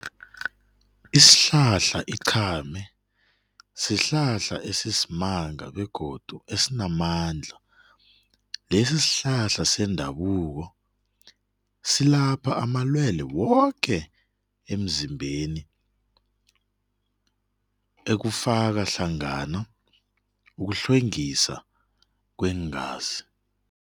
Isihlahla iqhame sihlahla esisimanga begodu esinamandla, lesi sihlahla sendabuko silapha amalwele woke emzimbeni ekufaka hlangana ukuhlwengisa kweengazi.